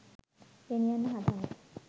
ගෙනියන්න හදන්නේ